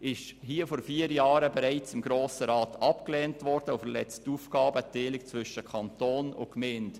Diese Streichung wurde bereits vor vier Jahren im Grossen Rat abgelehnt, und sie würde die Aufgabenteilung zwischen Kanton und Gemeinden verletzen.